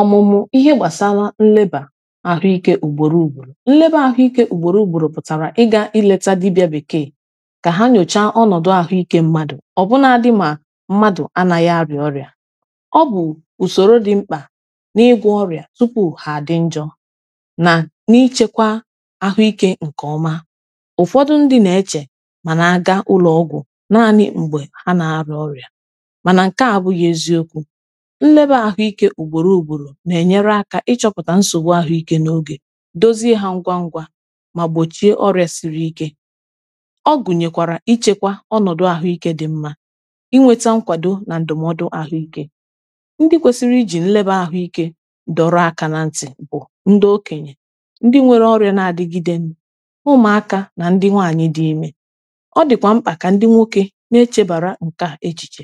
ọmụmụ ihe gbasara nleba ahụike ugboro ugboro nleba ahụike ugboro ugboro pụtara ịga ileta dibịa bekee ka ha nyochaa ọnọdụ ahụike mmadụ ọ bụ na ndị ma mmadụ anaghị arịa ọrịa ọ bụ usoro dị mkpa n’igwe ọrịa tupu ha adị njọ na n’ịchekwa ahụike nke ọma ụfọdụ ndị na-eche mana aga ụlọọgwụ naanị mgbe ha na-arịa ọrịa mana nke a abụghị eziokwu ịchọpụtà nsògbu àhụikė n’oge dozie hȧ ngwa ngwa mà gbòchie ọrị̇ȧ siri ike ọ gụ̀nyèkwàrà ịchekwa ọnọ̀dụ àhụikė dị̇ mmȧ ịnweta nkwàdo nà ǹdụ̀mọdụ àhụikė ndị kwesiri ijì nleba àhụikė dọrọ àkà na ntị̇ bụ̀ ndị okenyè ndị nwere ọrị̇ȧ na-adịgide ụmụ̀akȧ nà ndị nwaanyị̇ dị̇ imė ọ dị̀kwà mkpà kà ndị nwoke na-echebàra nke à echìchè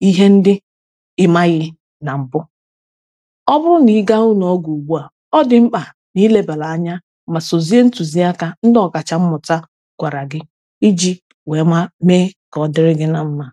ihe ndị ịmaghị na mbụ ọ bụrụ na ị gaa ụna ọgwụ ugbu à ọ dị mkpà na ilebara anya iji we ịma mee ka ọ dịrị gị na mma